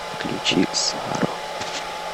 включи саро